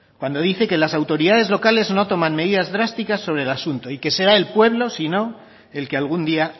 cuando dice que las autoridades locales no toman medidas drásticas sobre el asunto y que será el pueblo si no el que algún día